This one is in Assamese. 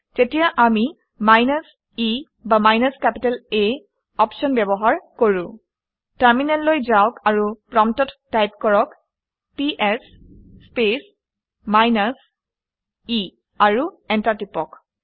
তেতিয়া আমি মাইনাছ e বা মাইনাছ কেপিটেল A আপশ্যন ব্যৱহাৰ কৰোঁ। টাৰমিনেললৈ যাওক আৰু প্ৰম্পটত টাইপ কৰক - পিএছ স্পেচ মাইনাছ e আৰু এণ্টাৰ টিপি দিয়ক